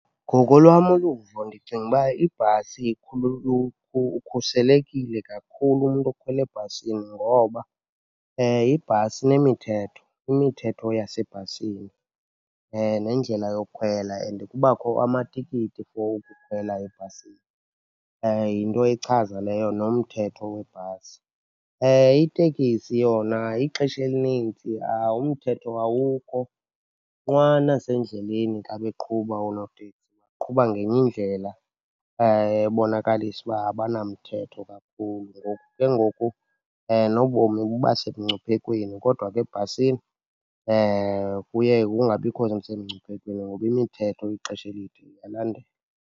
Ngokolwam uluvo ndicinga uba ibhasi , ukhuselekile kakhulu umntu okhwele ebhasini ngoba ibhasi inemithetho, imithetho yasebhasini nendlela yokhwela. And kubakho amatikiti for ukukhwela ebhasini, yinto echaza leyo nomthetho webhasi. Iteksi yona ixesha elininzi umthetho awukho. Nqwa nasendleleni xa beqhuba oonoteksi, baqhuba ngenye indlela ebonakalisa uba abanamthetho kakhulu ngoku ke ngoku nobomi buba semngcuphekweni. Kodwa ke ebhasini kuye kungabikho semngciphekweni ngoba imithetho ixesha elide iyalandelwa.